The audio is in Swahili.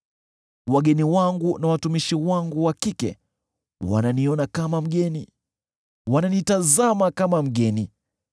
Wageni wangu na watumishi wangu wa kike wananiona kama mgeni; wananitazama kama mgeni.